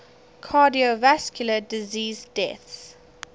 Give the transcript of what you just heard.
cardiovascular disease deaths